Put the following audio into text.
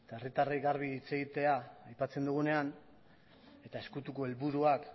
herritarrei garbi hitz egitea aipatzen dugunean eta ezkutuko helburuak